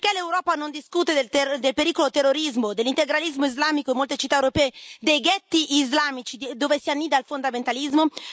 Perché l'Europa non discute del pericolo terrorismo, dell'integralismo islamico in molte città europee, dei ghetti islamici dove si annida il fondamentalismo?